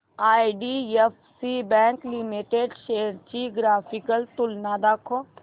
IDFC bank limited shares ची graphical तुलना दाखव